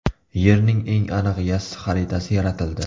Yerning eng aniq yassi xaritasi yaratildi.